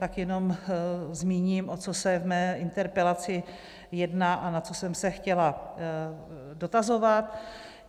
Tak jenom zmíním, o co se v mé interpelaci jedná a na co jsem se chtěla dotazovat.